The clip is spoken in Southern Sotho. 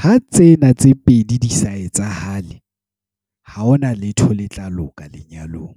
Ha tsena tse pedi di sa etsahale. Ha ho na letho le tla loka lenyalong.